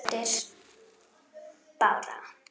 Þín dóttir Bára.